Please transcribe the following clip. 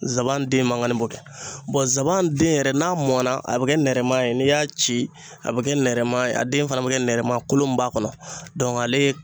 Nsaban den mankan bɛ kɛ nsaban den yɛrɛ, n'a mɔnna, a bɛ kɛ nɛrɛma ye ,n'i y'a ci, a bɛ kɛ nɛrɛma ye, a den fana bɛ kɛ nɛrɛma, kolo min b'a kɔnɔ ale